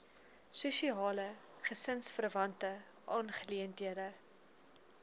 spesiale gesinsverwante aangeleenthede